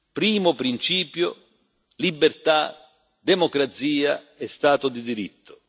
Primo principio libertà, democrazia e Stato di diritto.